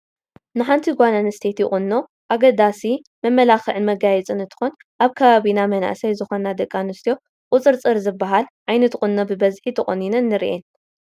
ንሓንቲ ጓል ኣነስተይቲ ቁኖ ኣገዳሲ መመላክዕን መጋየፅን እንትኾን ኣብ ከባቢና መናእሰይ ዝኾና ደቂ ኣንስትዮ ቁፅፅር ዝበሃል ዓይነት ቁኖ ብበዝሒ ተቖኒነን ንሪአን፡፡